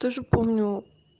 тоже помню